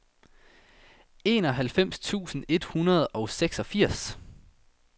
enoghalvfems tusind et hundrede og seksogfirs